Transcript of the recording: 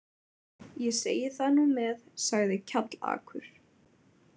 Ég segi það nú með, sagði Kjallakur.